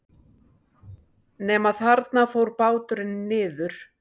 Nema þarna fór báturinn niður.